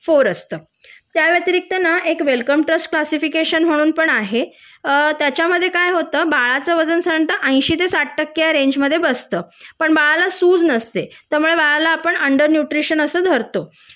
four असत त्या व्यतिरिक्त एक वेलकमतोस क्लासिफिकेशन पण आहे अ त्याच्या मध्ये काय होत बाळाच वजन साधारण: साठ ते एंशी टक्के ह्या रेंज मध्ये बसत पण बाळाला सूज नसते त्यामुळे बाळाला आपण अन्डर न्यूट्रिशन अस धरतो